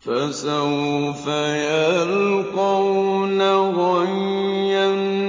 فَسَوْفَ يَلْقَوْنَ غَيًّا